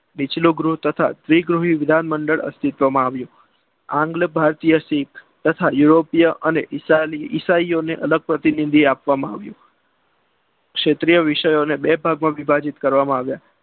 નીચલું ગૃહ તથા જે વિધાન ગૃહ અસ્તિત્વમાં આવ્યું. આંધ્ર ભારતીય શીપ તથા યુરોપિયા અને ઈશાહીઓને અલગ પ્રતિનિધિત્વ આપવામાં આવ્યું. ક્ષેત્રીય વિભાગોને બે ભાગમાં વિભાજિત કરવામાં આવ્યા.